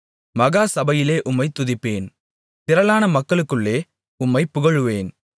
மகா சபையிலே உம்மைத் துதிப்பேன் திரளான மக்களுக்குள்ளே உம்மைப் புகழுவேன்